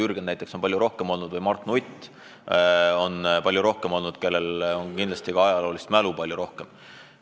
Jürgen näiteks on palju kauem olnud ja Mart Nutt on palju kauem olnud, neil kindlasti on ka ajaloolist mälu palju rohkem.